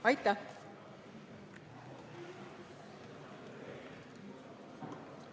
Aitäh!